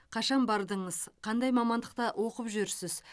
қашан бардыңыз қандай мамандықта оқып жүрсіз